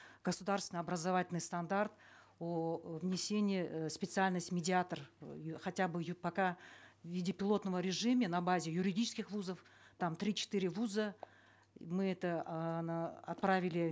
государственный образовательный стандарт о внесении э специальности медиатор хотя бы пока в виде пилотного режима на базе юридических вузов там три четыре вуза мы это отправили